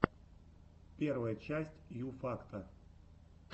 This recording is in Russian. первая часть ю факта